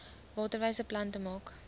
waterwyse plante maak